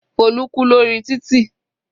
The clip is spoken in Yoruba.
Folu kú lórí títì.